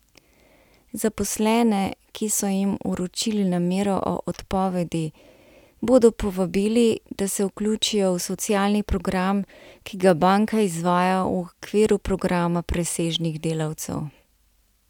Zaposlene, ki so jim vročili namero o odpovedi, bodo povabili, da se vključijo v socialni program, ki ga banka izvaja v okviru programa presežnih delavcev.